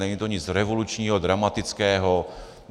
Není to nic revolučního, dramatického.